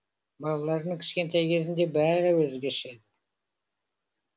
балаларының кішкентай кезінде бәрі өзгеше